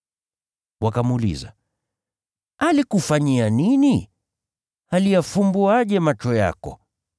Wakamuuliza, “Alikufanyia nini? Aliyafumbuaje macho yako?”